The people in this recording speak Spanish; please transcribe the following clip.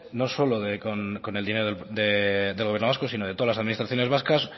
no solo con el dinero del gobierno vasco sino de todas las administraciones vascas